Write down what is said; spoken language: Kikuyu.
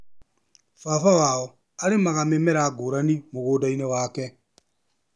Baba wao arĩmaga mĩmera ngũrani mũgũndainĩ wake.